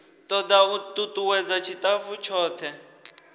toda u tutuwedza tshitafu tshothe